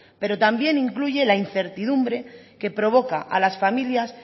pero también incluye la incertidumbre que provoca a las familias